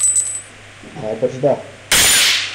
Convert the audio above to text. Najbrž, da.